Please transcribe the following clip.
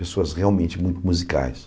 Pessoas realmente muito musicais.